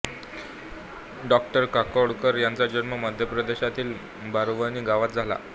डॉ काकोडकर यांचा जन्म मध्यप्रदेशातील बारावनी गावात झाला